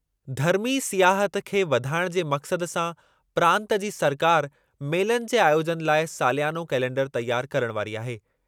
धर्मी सियाहत खे वधाइणु जे मक़सदु सां प्रांतु जी सरकारि मेलनि जे आयोजनु लाइ सालियानो कैलेंडरु तयारु करणु वारी आहे।